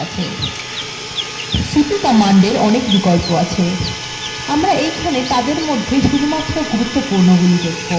cp কমান্ডএর অনেক বিকল্প আছে আমরা এইখানে তাদের মধ্যে শুধুমাত্র গুরুত্বপূর্ণগুলি দেখব